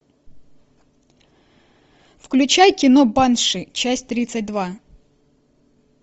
включай кино банши часть тридцать два